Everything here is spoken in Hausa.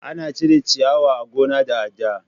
Ana cire ciyawa a gona da adda.